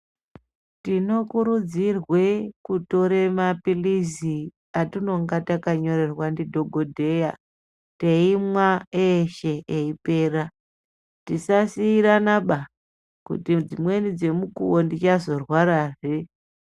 Tinokurudzirwa kutora mapirizi atinenge tanyorerwa nemadhokodheya teimwa eshe eipera dzisasirana ba kuti dzimweni dzemukuwo tisazorwarazve.